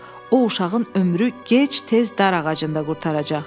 O uşağın ömrü gec-tez dar ağacında qurtaracaq.